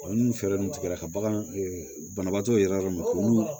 Olu fɛɛrɛ ninnu tigɛra ka bagan banabaatɔ yɛrɛ ma k'olu